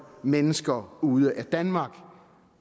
mennesker ude af danmark